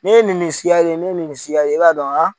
Ne ye nin nin siya ye ne ye nin nin siya ye i b'a dɔn